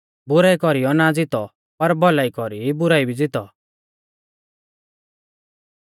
बुराई कौरीयौ ना ज़ितौ पर भौलाई कौरी बुराई भी ज़ितौ